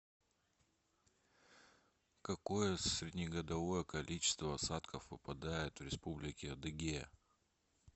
какое среднегодовое количество осадков выпадает в республике адыгея